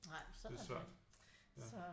Det er svært ja